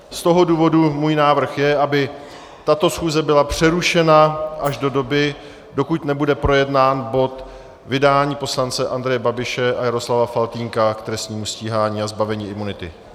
Z toho důvodu můj návrh je, aby tato schůze byla přerušena až do doby, dokud nebude projednán bod vydání poslance Andreje Babiše a Jaroslava Faltýnka k trestnímu stíhání a zbavení imunity.